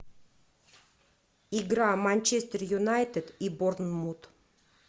игра манчестер юнайтед и борнмут